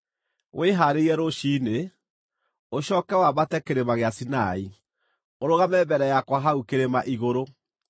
Wĩhaarĩrie rũciinĩ, ũcooke wambate kĩrĩma gĩa Sinai. Ũrũgame mbere yakwa hau kĩrĩma igũrũ.